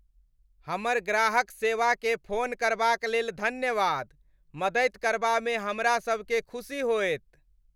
हमर ग्राहक सेवाकेँ फोन करबाक लेल धन्यवाद। मदति करबामे हमरा सभकेँ खुशी होएत।